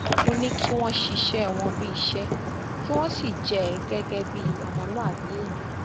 ó ní kí wọn ṣiṣẹ wọn bíi iṣẹ kí wọn sì jẹ ẹ gẹgẹ bíi ọmọlúàbí èèyàn